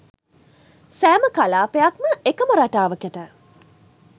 සෑම කලාපයක්ම එකම රටාවකට